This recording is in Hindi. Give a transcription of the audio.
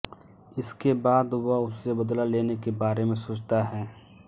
इसके बाद वह उससे बदला लेने के बारे में सोचता है